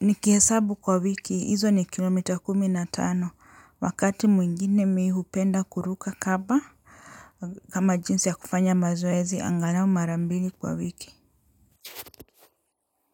nikihesabu kwa wiki hizo ni kilomita kumi na tano wakati mwingine mi hupenda kuruka kaba kama jinsi ya kufanya mazoezi angalau mara mbili kwa wiki.